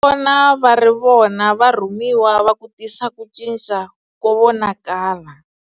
Vona va ri vona varhumiwa va ku tisa ku cinca ko vonakala.